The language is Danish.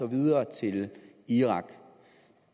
videre til irak